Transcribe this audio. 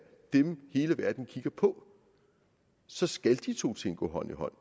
dem hele verden kigger på så skal de to ting gå hånd i hånd